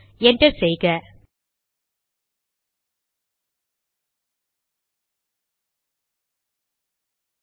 என்டரை தட்டுவோம்